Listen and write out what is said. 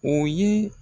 O ye